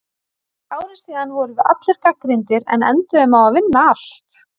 Fyrir ári síðan vorum við allir gagnrýnir en enduðum á að vinna allt.